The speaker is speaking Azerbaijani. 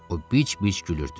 O bic-bic gülürdü.